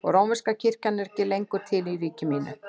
Og að rómverska kirkjan er ekki lengur til í ríki mínu?